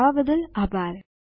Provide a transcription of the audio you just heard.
જોડાવા બદ્દલ આભાર